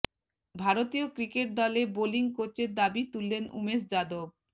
ভারতীয় ক্রিকেট দলে বোলিং কোচের দাবি তুললেন উমেশ যাদব